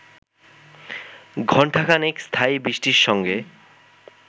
ঘণ্টাখানেক স্থায়ী বৃষ্টির সঙ্গে